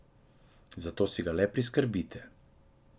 Zato si ga le priskrbite.